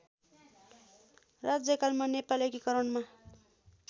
राज्यकालमा Nepal एकीकरणमा